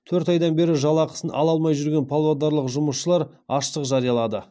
төрт айдан бері жалақысын ала алмай жүрген павлодарлық жұмысшылар аштық жариялады